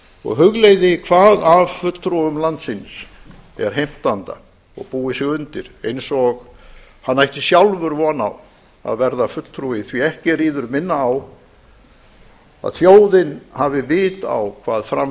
og hugleiði hvað af fulltrúum landsins er heimtanda og búi sig undir eins og hann ætti sjálfur von á að verða fulltrúi því ekki ríður minna á að þjóðin hafi vit á hvað fram